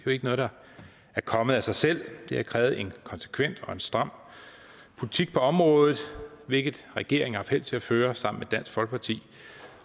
jo ikke noget der er kommet af sig selv det har krævet en konsekvent og stram politik på området hvilket regeringen har haft held til at føre sammen dansk folkeparti